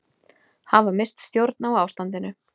Hafa misst stjórn á ástandinu